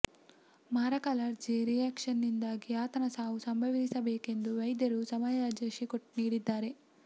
ಮಾರಕ allergy reaction ನಿಂದಾಗಿ ಆತನ ಸಾವು ಸಂಭವಿಸಿರಬೇಕೆಂದು ವೈದ್ಯರು ಸಮಜಾಯಿಷಿ ನೀಡಿದ್ದಾರೆ